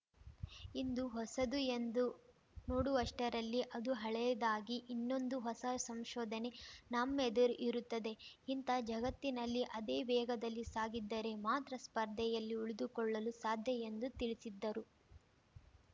ಇಂದು ಹೊಸದು ಎಂದು ನೋಡುವಷ್ಟರಲ್ಲಿ ಅದು ಹಳೆಯದಾಗಿ ಇನ್ನೊಂದು ಹೊಸ ಸಂಶೋಧನೆ ನಮ್ಮೆದುರು ಇರುತ್ತದೆ ಇಂತಹ ಜಗತ್ತಿನಲ್ಲಿ ಅದೇ ವೇಗದಲ್ಲಿ ಸಾಗಿದ್ದರೆ ಮಾತ್ರ ಸ್ಪರ್ಧೆಯಲ್ಲಿ ಉಳಿದುಕೊಳ್ಳಲು ಸಾಧ್ಯ ಎಂದು ತಿಳಿಸಿದ್ದರು